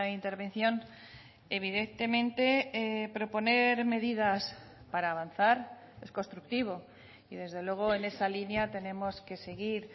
intervención evidentemente proponer medidas para avanzar es constructivo y desde luego en esa línea tenemos que seguir